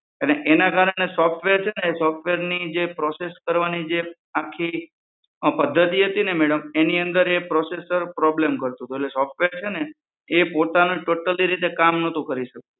અને એના કારણે સોફ્ટવેર છે ને એ સોફ્ટવેરની process કરવાની જે આખી પદ્ધતિ હતી ને મેડમ એની અંદર એ processorproblem કરતુ હતું એટલે સોફ્ટવેર છે ને એ પોતાની ટોટલી રીતે કામ નતું કરી શકતું.